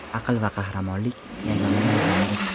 Aql va qahramonlik – yagona mezondir.